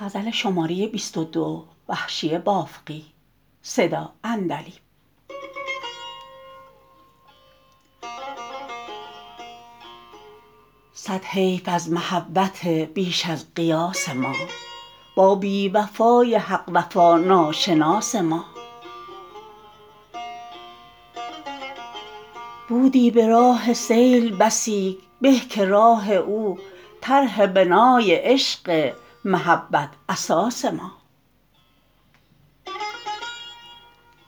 صد حیف از محبت بیش از قیاس ما با بیوفای حق وفا ناشناس ما بودی به راه سیل بسی به که راه او طرح بنای عشق محبت اساس ما